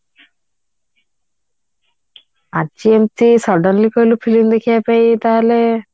ଆଜି ହଉଛି ସନ୍ଧ୍ୟାବେଳେ କହିଲ film ଦେଖିବାକୁ ତାହାଲେ